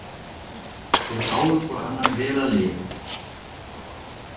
Þeir báðu hvor annan vel að lifa.